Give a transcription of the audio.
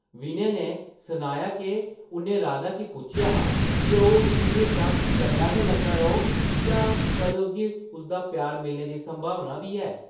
विनय नै सनाया’क उʼन्नै राधा गी पुच्छेआ हा जे ओह् उसगी म्हेशां चंगा गै लगदा रौह्ग जां कदें उसगी उसदा प्यार मिलने दी संभावना बी ऐ ।